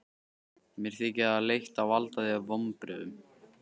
Mér þykir leitt að valda þér vonbrigðum.